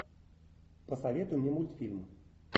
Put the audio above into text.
посоветуй мне мультфильм